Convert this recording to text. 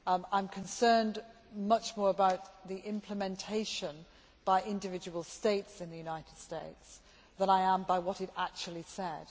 I am concerned much more about the implementation by individual states in the United States than I am by what it actually said.